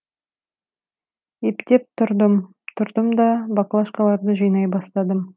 ептеп тұрдым тұрдымда баклашкаларды жинай бастадым